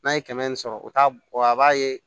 N'a ye kɛmɛ sɔrɔ o t'a bɔ a b'a ye